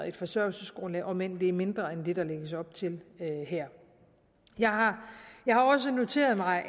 et forsørgelsesgrundlag om end det er mindre end det der lægges op til her jeg har også noteret mig